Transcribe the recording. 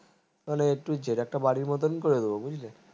তাহলে একটু বাড়ীর মতো করে দেব বুঝলি